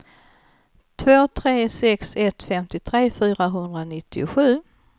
två tre sex ett femtiotre fyrahundranittiosju